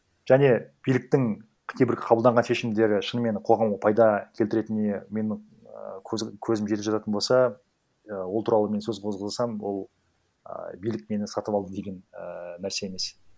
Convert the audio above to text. және биліктің қате бір қабылданған шешімдері шынымен қоғамға пайда келтіретініне менің і көзім жететін жататын болса і ол туралы мен сөз қозғасам ол ыыы билік мені сатып алды деген ііі нәрсе емес